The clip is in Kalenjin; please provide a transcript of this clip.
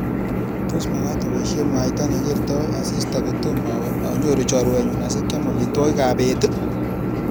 Tos magaat aboishen mwaita negertoi asista kotomo awe anyoru chorwenyu asigeam amitwogikab beet